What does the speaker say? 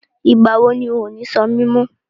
Ìgbà wo ni ò ní Ṣó mi mọ?